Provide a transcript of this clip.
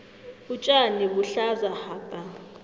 utjani buhlaza hapa